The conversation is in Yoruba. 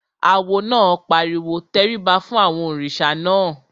Awo náà pariwo "tẹríba fún àwọn òrìṣà náà!"